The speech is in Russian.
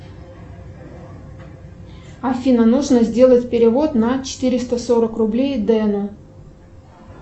афина нужно сделать перевод на четыреста сорок рублей дену